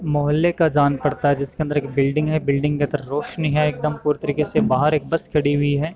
मोहल्ले का जान पड़ता है जिसके अंदर एक बिल्डिंग है बिल्डिंग के रोशनी है एकदम पूरी तरीके से बाहर एक बस खड़ी हुई है।